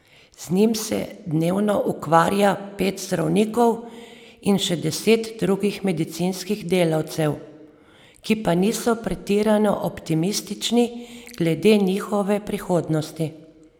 Z njim se dnevno ukvarja pet zdravnikov in še deset drugih medicinskih delavcev, ki pa niso pretirano optimistični glede njegove prihodnosti.